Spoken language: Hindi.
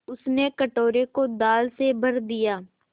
उसने कटोरे को दाल से भर दिया